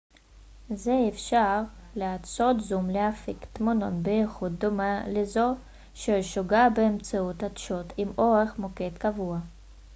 זה אפשר לעדשות זום להפיק תמונות באיכות דומה לזו שהושגה באמצעות עדשות עם אורך מוקד קבוע